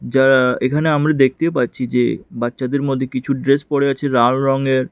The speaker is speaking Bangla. যা এখানে আমরা দেখতে পাচ্ছি যে বাচ্চাদের মধ্যে কিছু ড্রেস পরে আছে লাল রঙের।